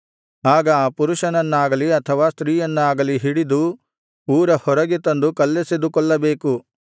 ಆಗ ಆ ಪುರುಷನನ್ನಾಗಲಿ ಅಥವಾ ಸ್ತ್ರೀಯನ್ನಾಗಲಿ ಹಿಡಿದು ಊರ ಹೊರಗೆ ತಂದು ಕಲ್ಲೆಸೆದು ಕೊಲ್ಲಬೇಕು